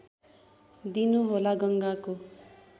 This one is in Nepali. दिनु होला गङ्गाको